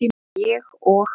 Ég og